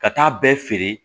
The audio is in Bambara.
Ka taa bɛɛ feere